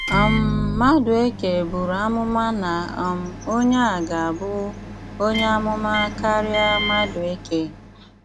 um Madùèkè bùrù àmụ̀mà na um Onye a gà-abụ “ onye àmụ̀mà ” kárịá Madùèkè.